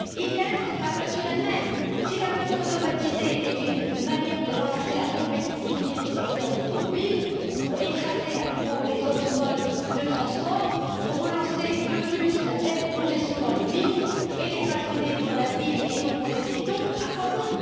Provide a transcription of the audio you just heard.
Idem sur la voiture elle même. Si la voiture automatisée est une manière de relancer la compétitivité du secteur automobile pour écraser à nouveau les autres modes de transport, pour relancer, de plus belle, la congestion dans les villes, et si c'est pour qu'elle soit façonnée pour la ville et non pour les piétons, à quoi bon?